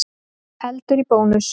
Eldur í Bónus